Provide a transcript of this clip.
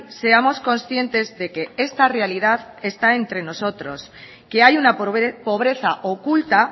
seamos conscientes de que esta realidad está entre nosotros que hay una pobreza oculta